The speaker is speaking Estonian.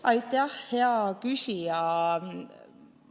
Aitäh, hea küsija!